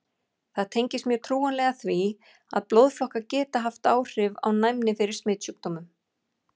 Það tengist mjög trúlega því, að blóðflokkar geta haft áhrif á næmi fyrir smitsjúkdómum.